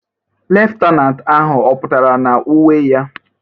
Leftenanti ahụ ọ pụtara na uwe ya?